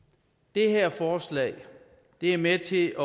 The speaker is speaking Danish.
det her forslag er med til